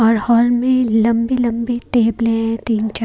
और हॉल में लंबी लंबी टेबले है तीन चार--